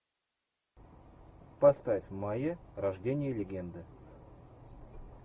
поставь майя рождение легенды